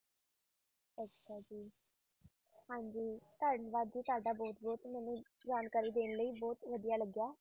ਹਾਂਜੀ ਧੰਨਵਾਦ ਜੀ ਤੁਹਾਡਾ ਬਹੁਤ ਬਹੁਤ ਮੈਨੂੰ ਜਾਣਕਾਰੀ ਦੇਣ ਲਈ ਬਹੁਤ ਵਧੀਆ ਲੱਗਿਆ।